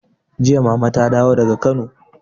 Jiya mama ta dawo daga Kano.